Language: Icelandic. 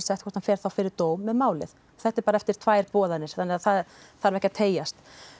hvort hann fer fyrir dóm með málið þetta er bara eftir tvær boðanir svo þetta þarf ekki að teygjast